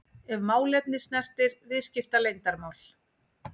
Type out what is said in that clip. ef málefni snertir viðskiptaleyndarmál.